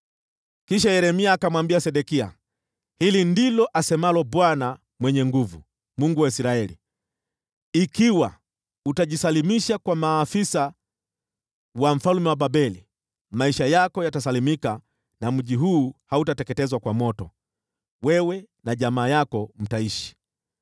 Kisha Yeremia akamwambia Sedekia, “Hili ndilo asemalo Bwana Mungu Mwenye Nguvu Zote, Mungu wa Israeli: ‘Ikiwa utajisalimisha kwa maafisa wa mfalme wa Babeli, maisha yako yatasalimika, na mji huu hautateketezwa kwa moto. Pia wewe na jamaa yako mtaishi.